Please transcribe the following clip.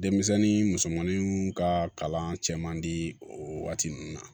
Denmisɛnnin musomanin ka kalan cɛ man di o waati ninnu na